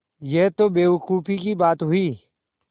यह तो बेवकूफ़ी की बात हुई